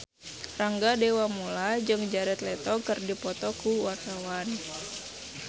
Rangga Dewamoela jeung Jared Leto keur dipoto ku wartawan